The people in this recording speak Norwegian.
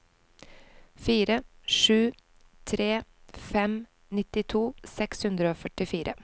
fire sju tre fem nittito seks hundre og førtifire